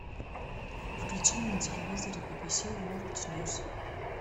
включи мне на телевизоре би би си ворлд ньюс